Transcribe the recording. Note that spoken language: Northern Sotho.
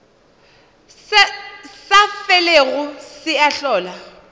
sa felego se a hlola